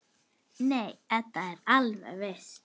Nei, Edda er alveg viss.